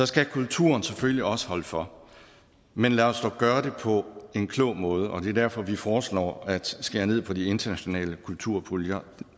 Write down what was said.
skal kulturen selvfølgelig også holde for men lad os dog gøre det på en klog måde og det er derfor vi foreslår at skære ned på de internationale kulturpuljer